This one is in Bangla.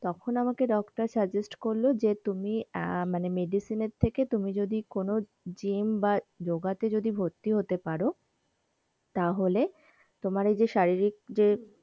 তখন আমায় ডাক্তার suggest করলো যে তুমি আয় মানে medicine এর থেকে তুমি যদি কোনো gym বা যোগা তে যদি ভর্তি হতে পারো তাহলে তোমার এই যে শারীরিক যে,